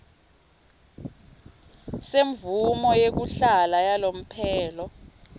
semvumo yekuhlala yalomphelo